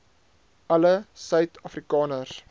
alle suid afrikaners